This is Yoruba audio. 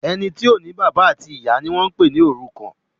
Ẹní tí o ní bàbá àbí ìyá ní wón pè ní òrùkan.